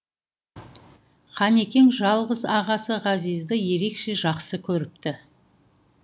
қанекең жалғыз ағасы ғазизді ерекше жақсы көріпті